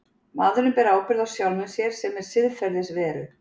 Maðurinn ber ábyrgð á sjálfum sér sem siðferðisveru.